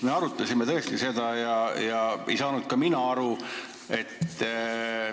Me arutasime seda tõesti ega saanud ka mina sellest aru.